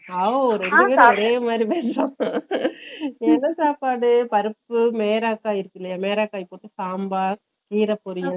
ஆவோ ரெண்டு பேரும் ஒரே மாதிரிதான் , என்ன சாப்பாடு பருப்பு மேரக்காய் இருக்குதில்லையா மேரக்காய் போட்டு சாம்பார் கீரப்போரியல்